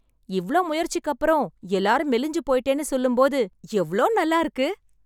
இவ்ளோ முயற்சிக்கப்பறம் எல்லாரும் மெலிஞ்சு போய்ட்டேன்னு சொல்லும் போது எவ்ளோ நல்லா இருக்கு.